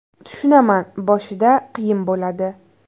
Tushunaman, boshida qiyin bo‘ladi.